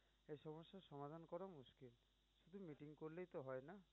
করলেই তো হয় না।